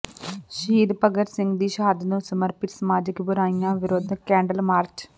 ਸ਼ਹੀਦ ਭਗਤ ਸਿੰਘ ਦੀ ਸ਼ਹਾਦਤ ਨੂੰ ਸਮਰਪਿਤ ਸਮਾਜਿਕ ਬੁਰਾਈਆਂ ਵਿਰੁੱਧ ਕੈਂਡਲ ਮਾਰਚ